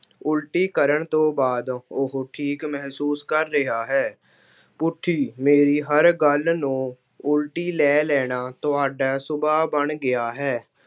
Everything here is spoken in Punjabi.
ਉਲਟੀ ਕਰਨ ਤੋਂ ਬਾਅਦ ਉਹ ਠੀਕ ਮਹਿਸੂਸ ਕਰ ਰਿਹਾ ਹੈ। ਪੁੱਠੀ- ਮੇਰੀ ਹਰ ਗੱਲ ਨੂੰ ਉਲਟੀ ਲੈ ਲੈਣਾ ਤੁਹਾਡਾ ਸੁਭਾਅ ਬਣ ਗਿਆ ਹੈ।